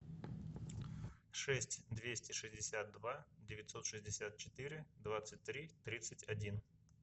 шесть двести шестьдесят два девятьсот шестьдесят четыре двадцать три тридцать один